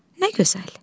Nə gözəl.